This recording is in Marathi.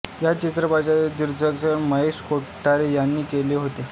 या चित्रपटाचे दिग्दर्शन महेश कोठारे यांनी केले होते